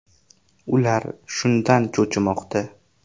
Ular shundan cho‘chimoqda.